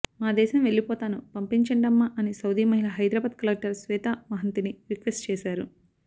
మా దేశం వెళ్లిపోతాను పంపించండమ్మా అని సౌదీ మహిళ హైదరాబాద్ కలెక్టర్ శ్వేతా మహంతిని రిక్వెస్ట్ చేశారు